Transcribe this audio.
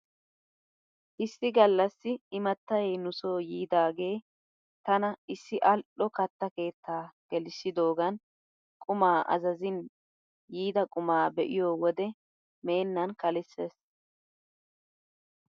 Issi gallassi imattay nu soo yiidaagee tana issi al'o katta keettaa gelissidoogan qumaa azazin yiida qumaa be'iyoo wode meennan kalisses.